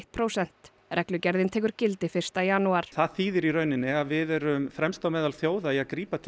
prósent reglugerðin tekur gildi fyrsta janúar það þýðir í rauninni að við erum fremst meðal þjóða að grípa til